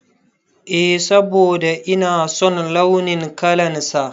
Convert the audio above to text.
Eh, saboda ina son launin kalan sa